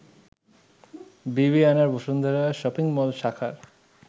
বিবিআনার Bashundhara shopping mall শাখার